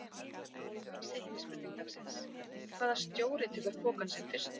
Seinni spurning dagsins: Hvaða stjóri tekur pokann sinn fyrstur?